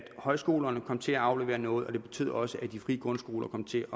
højskolerne kom til at aflevere noget og det betød også at de frie grundskoler kom til